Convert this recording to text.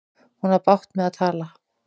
Hún á bágt með að tala.